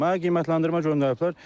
Mənə qiymətləndirmə göndəriblər.